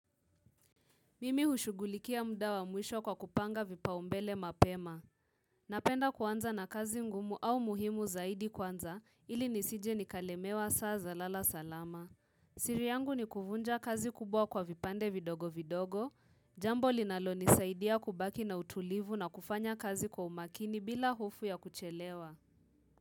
Mimi hushugulikia muda wa mwisho kwa kupanga vipaumbele mapema. Napenda kuanza na kazi ngumu au muhimu zaidi kwanza ili nisije nikalemewa saa za lala salama. Siri yangu ni kuvunja kazi kubwa kwa vipande vidogo vidogo. Jambo linaloni saidia kubaki na utulivu na kufanya kazi kwa umakini bila hofu ya kuchelewa.